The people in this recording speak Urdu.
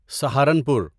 سہارنپور